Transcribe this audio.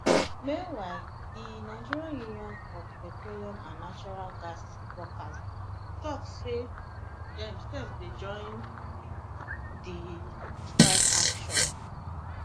meanwhile di nigeria union of petroleum and natural gas workers tok say dem sef dey join di strike action